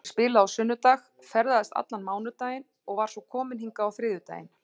Ég spilaði á sunnudag, ferðaðist allan mánudaginn og var svo komin hingað á þriðjudaginn.